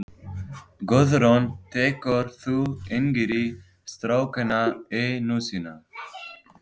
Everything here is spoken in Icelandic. Guðrún: Tekur þú yngri strákana í nösina?